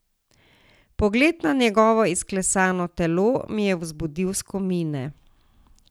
Pogled na njegovo izklesano telo mi je vzbudil skomine.